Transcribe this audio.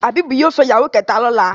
Habib yóò fè ìyàwó kéta lọla.